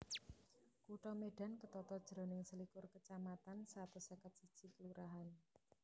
Kutha Medan ketata jroning selikur kecamatan satus seket siji kelurahan